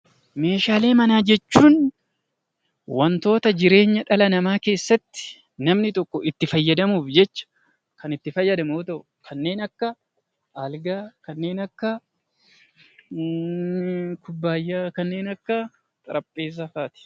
Meeshaalee manaa jechuun waantota jireenya dhala namaa keessatti namni tokko itti fayyadamuuf jecha kan itti fayyadamu yoo ta'u, kanneen akka aalgaa, kanneen akka kubbayyaa, kanneen akka xarabeessaa fa'aati.